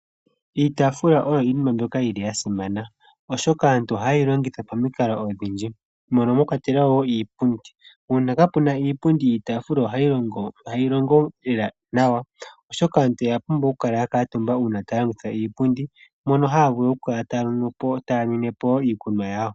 Iitaafula oyo iinima mbyoka yili ya simana oshoka aantu ohaye yi longitha pamikalo odhindji mono mwakwatelwa wo iipundi. Uuna kaapu na iipundi iitaafula ihayi longo naanawa lela oshoka aantu oya pumbwa okukala ya kuutumba uuna taya longitha iipundi mono haya vulu okukala taya nwine po wo iikunwa yawo.